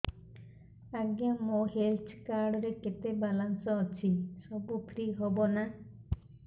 ଆଜ୍ଞା ମୋ health card ରେ କେତେ ବାଲାନ୍ସ ଅଛି ସବୁ ଫ୍ରି ହବ ନାଁ